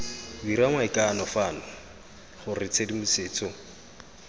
dira maikano fano gore tshedimosetso